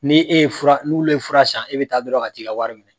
Ne e ye fura n'olu ye fura san e bɛ taa dɔrɔn ka t'i ka wari minɛ